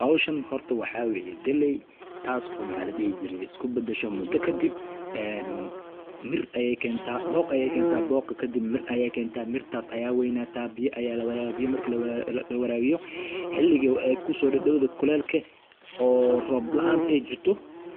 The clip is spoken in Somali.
Howshan horta waxaa weeye galey taasi oo maxaa ladihi jire isku badasha mudo kadib en mir ayay keenta booq ayay keenta booqa kadib mir ayay keenta mirtaas aya weynaata biya aya lawarabiya biya marki lawarabiya xiliga ay kusodadawda kuleel oo roob lanta ay jirto